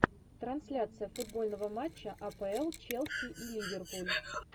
трансляция футбольного матча апл челси и ливерпуль